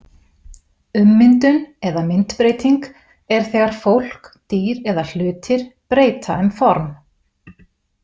Ummyndun eða myndbreyting er þegar fólk, dýr eða hlutir breyta um form.